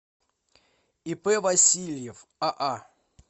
ип васильев аа